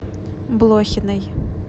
блохиной